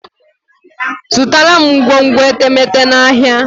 Zụtara m ngwongwo etemeete n'ahia